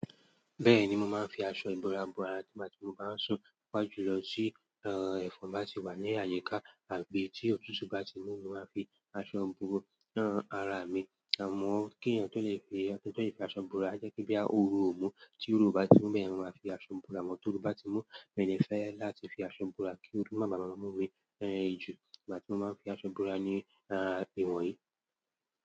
Bẹ́ẹ̀ni, mo máa ń fi aṣọ ìbora bora nígbà tí mo bá ń sùn, pàjùlọ tí ẹ̀fọn bá ti wà ní àyíká àbí tí òtútù bá ti mú, mo máa fi aṣọ ìbora hàn ara mi. Àmọ́ kí èèyàn tó lè fi aṣọ ìbora, jẹ́ kí bí a òro ò mú, tí oró bá ti mú, bẹ́ẹ̀ ni mo máa fi aṣọ ìbora. Mọ́ tó oru bá ti mú, mi ò ní fẹ́ láti fi aṣọ ìbora kí ooru má bàa bámú mi jù. Nígbà tí mo máa ń fi aṣọ ìbora ni ìwọ̀nyí.